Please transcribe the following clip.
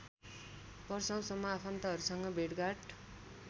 वर्षौसम्म आफन्तहरूसँग भेटघाट